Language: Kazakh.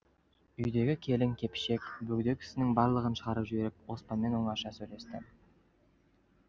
үйдегі келің кепшік бөгде кісінің барлығын шығарып жіберіп оспанмен оңаша сөйлесті